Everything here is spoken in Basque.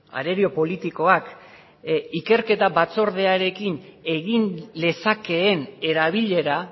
arerio politikoak ikerketa batzordearekin egin lezakeen erabilera